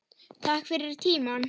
Takk fyrir tímann.